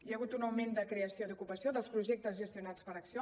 hi ha hagut un augment de creació d’ocupació dels projectes gestionats per acció